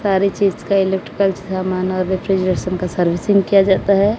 सारी चीज का इलेक्ट्रिकल सामान और रेफ्रिजरेशन का सर्विसिंग किया जाता है।